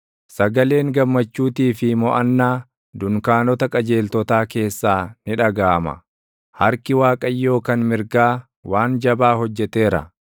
Sagaleen gammachuutii fi moʼannaa dunkaanota qajeeltotaa keessaa ni dhagaʼama; “Harki Waaqayyoo kan mirgaa waan jabaa hojjeteera!